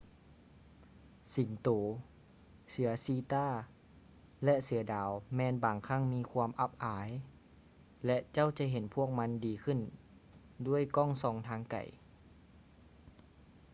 ສິງໂຕ ເສືອຊີຕາ ແລະ ເສືອດາວແມ່ນບາງຄັ້ງມີຄວາມອັບອາຍ ແລະ ເຈົ້າຈະເຫັນພວກມັນດີຂື້ນດ້ວຍກ້ອງສ່ອງທາງໄກ